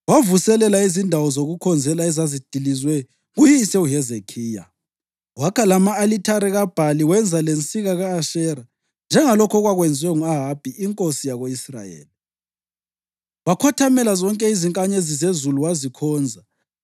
Wavuselela izindawo zokukhonzela ezazidilizwe nguyise uHezekhiya, wakha lama-alithare kaBhali wenza lensika ka-Ashera, njengalokhu okwakwenziwe ngu-Ahabi inkosi yako-Israyeli. Wakhothamela zonke izinkanyezi zezulu wazikhonza.